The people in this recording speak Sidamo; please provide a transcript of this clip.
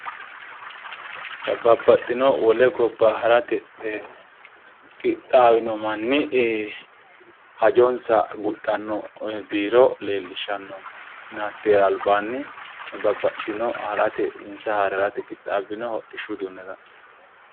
Babbaxxinohu wole gobba harate qixxaawino manni hajonsa guxxanni biiro leellishanonke hatteera albaani babaxitino insa haare harate qixxaabbinota hodhishu uduunne la'neemmo.